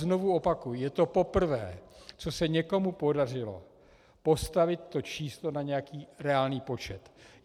Znovu opakuji, je to poprvé, co se někomu podařilo postavit to číslo na nějaký reálný počet.